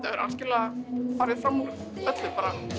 hefur algjörlega farið fram úr öllu